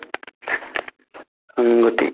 উম্গতি